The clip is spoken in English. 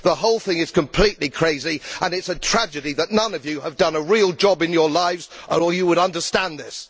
The whole thing is completely crazy and it is a tragedy that none of you have done a real job in your lives or you would understand this.